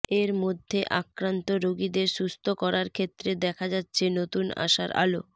এরমধ্যে আক্রান্ত রোগীদের সুস্থ করার ক্ষেত্রে দেখা যাচ্ছে নতুন আশার আলো